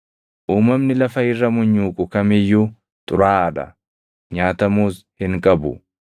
“ ‘Uumamni lafa irra munyuuqu kam iyyuu xuraaʼaa dha; nyaatamuus hin qabu.